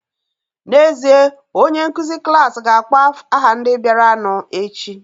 N'ezie, onye nkụzi klas ga-akpọ aha ndị bịaranụ echi